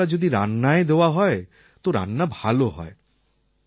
ভালো মশলা যদি রান্নায় দেওয়া হয় তো রান্না ভাল হয়